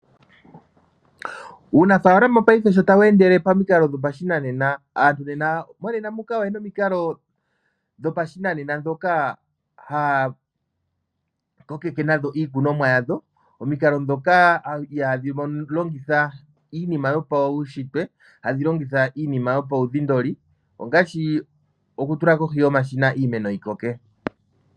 Uunafalama paife sho tawu endele pamikalo dhoshinanena aanafalama otaya longitha omikalo dhopashinanena ndhoka haya longitha nadho iikunomwa yawo. Omikalo ndhoka ihadhi longitha iinima yopaushitwe hadhi longitha iinima yopaudhindoli ngaashi okutula omashina iimeno momashina yi koke.